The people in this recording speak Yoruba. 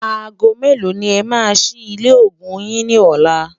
àgọ̀ mẹ̀lò ní é má sí ilé ògún yín ní ọlá?